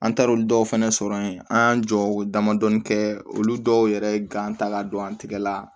An taara olu dɔw fɛnɛ sɔrɔ yen an y'an jɔ ko damadɔnin kɛ olu dɔw yɛrɛ ye ta ka don an tigɛ la